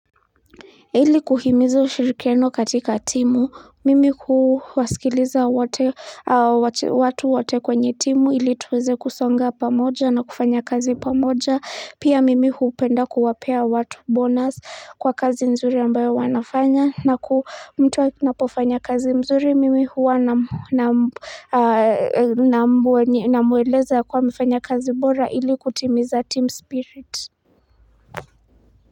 Ili kuhimiza ushirikiano katika timu mimi kuwasikiliza watu wote kwenye timu ili tuweze kusonga pamoja na kufanya kazi pamoja pia mimi huupenda kuwapea watu bonus kwa kazi nzuri ambayo wanafanya na ku mtuwa kinapofanya kazi mzuri mimi huwa na mweleza kwa mfanya kazi mbora ili kutimiza team spirit.